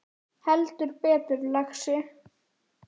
Heldur betur, lagsi